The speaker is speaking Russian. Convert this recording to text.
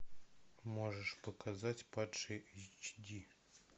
можешь показать падший эйч ди